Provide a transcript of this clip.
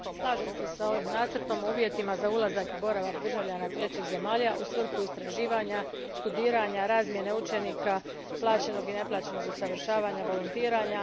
Gospođo predsjedavajuća, slažem se s ovim nacrtom o uvjetima za ulazak i boravak državljana iz trećih zemalja u svrhu istraživanja, studiranja, razmjene učenika, plaćenog i neplaćenog usavršavanja, volontiranja.